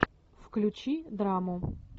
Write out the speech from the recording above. включи драму